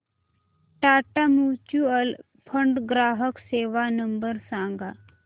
Tata mutual fund ग्राहक सेवा number सांगा